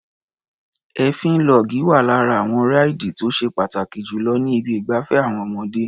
Èéfín log wá lára àwọn ráìdì tó ṣe pàtàkì jù lọ ní ibi ìgbafẹ́ àwọn ọmọdé.